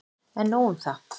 En nóg un það.